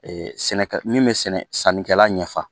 sɛnɛ min bɛ sɛnɛ sannikɛla ɲɛfa